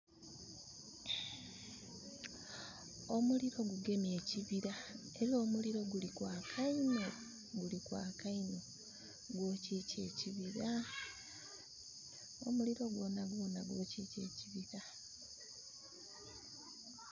Omuliro gugemye ekibira, era omuliro guli kwaka inho, guli kwaka inho. Gwokikya ekibira. Omuliro gwonagwona gwokikya ekibira.